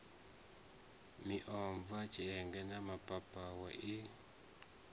miomva tshienge na mapapawe i